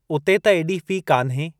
उते त एॾी फ़ी कान्हे।